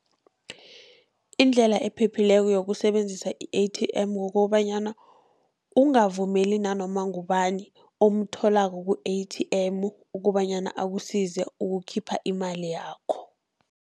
Indlela ephephileko yokusebenzisa i-A_T_M, kukobanyana ungavumeli nanoma ngubani omtholako ku-A_T_M kobanyana akusize ukukhipha imali yakho.